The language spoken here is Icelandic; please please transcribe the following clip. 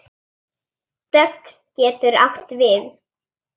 Dögg getur átt við